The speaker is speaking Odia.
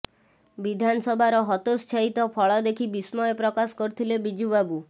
ବିଧାନସଭାର ହତୋତ୍ସାହିତ ଫଳ ଦେଖି ବିସ୍ମୟ ପ୍ରକାଶ କରିଥିଲେ ବିଜୁ ବାବୁ